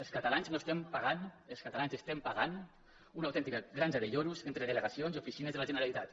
els catalans estem pagant una autèntica granja de lloros entre delegacions i oficines de la generalitat